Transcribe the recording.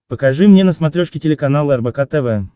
покажи мне на смотрешке телеканал рбк тв